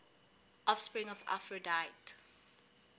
offspring of aphrodite